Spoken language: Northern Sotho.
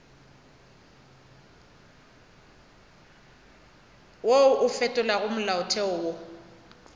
wo o fetolago molaotheo o